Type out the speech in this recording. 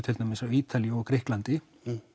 til dæmis Ítalíu og Grikklandi